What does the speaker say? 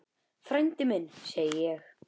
Frændi minn, segi ég.